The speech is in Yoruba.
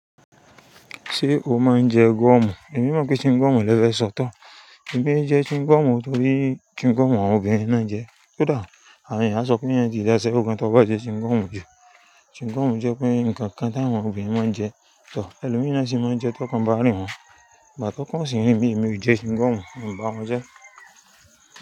Ṣé o máa ń jẹ goọ́mù? Èmi mọ̀ pé chewing goọ́mù lẹ́ fẹ́ sọ̀ tan. Èmi n jẹ chewing goọ́mù torí chewing goọ́mù àwọn obìnrin náà jẹ. Kódà àwọn èèyàn sọ pé e ti dáṣẹ́wo, tó bá jẹ chin goọ́mù jù. Chewing goọ́mù jẹ pé ǹkankan tí àwọn obìnrin máa ń jẹ. Tọ̀ ẹlòmin naa sì máa ń jẹ tọkàn bá rìn wọ́n, igbà tọ́kàn o sì rin emí, èmi ò jẹ chewing goọ́mù, mo bà wọ́n jẹ́.